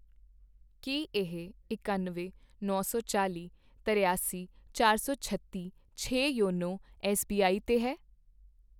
ਕੀ ਇਹ ਇਕੱਨਵੇਂ, ਨੌ ਸੌ ਚਾਲੀ, ਤਰਿਆਸੀ, ਚਾਰ ਸੌ ਛੱਤੀ, ਛੇ ਯੋਨੋ ਐੱਸਬੀਆਈ 'ਤੇ ਹੈ ?